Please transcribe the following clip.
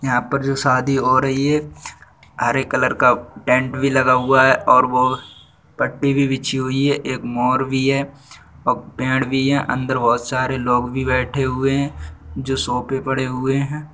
यहाँ पर जो शादी हो रही है| हरे कलर का टेंट भी लगा हुआ है और वो पट्टी भी बीछी हुई है एक मोर भी है और पेड़ भी है अंदर बोहोत सारे लोग भी बेठे हुए हैं जो सोफ़े पड़े हुए हैं।